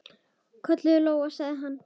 Ólöf, kölluð Lóa, sagði hann.